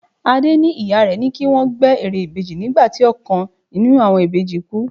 Adé ní ìyá rẹ ní kí wọ́n gbẹ́ ère ìbejì nígbà tí ọ̀kan nínú àwọn ìbejì kú.